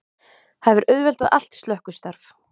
Það hefur auðveldað allt slökkvistarf